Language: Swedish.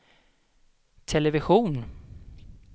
television